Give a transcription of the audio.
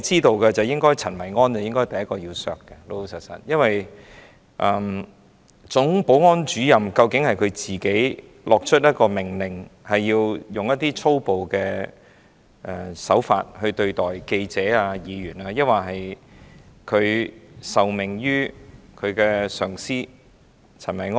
老實說，陳維安應該是第一個被削減薪酬的，因為究竟是總保安主任自行發出命令，要使用粗暴手法對待記者和議員，抑或是他受命於上司陳維安？